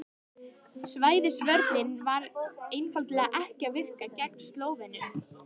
Svæðisvörnin var einfaldlega ekki að virka gegn Slóvenum.